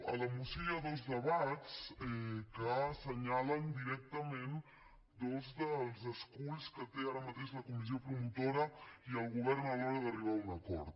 a la moció hi ha dos debats que assenyalen directament dos dels esculls que té ara mateix la comissió promotora i el govern a l’hora d’arribar a un acord